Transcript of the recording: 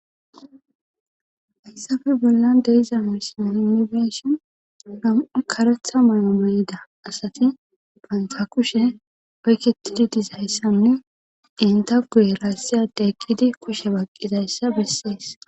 hayssafe bollan de'iza misine yunibeshon nam7u karetha may7o meyida asati fantha kushe payketidi dizayssanne inta guye raassiyade eqqidi kushe baqqidayssa bessees